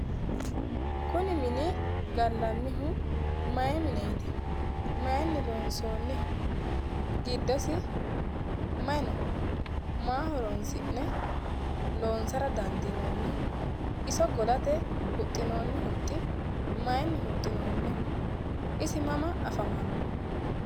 Kuni mini gallannihu maayi mineeti? maayiinni loonsoonniho? giddosi mayi no? maa horoonsi'ne loonsara dandiinoonniho? iso golate huxxinoonni huxxi maayiinni huxxinoonniho? isi mama afamannoho?